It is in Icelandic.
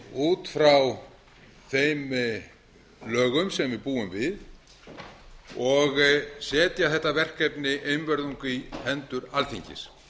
út frá þeim lögum sem við búum við og setja þetta verkefni einvörðungu í hendur alþingis